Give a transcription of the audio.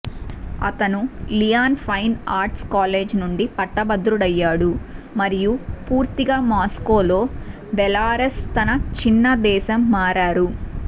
అతను Lyon fine arts college నుండి పట్టభద్రుడయ్యాడు మరియు పూర్తిగా మాస్కోలో బెలారస్ తన చిన్న దేశం మారారు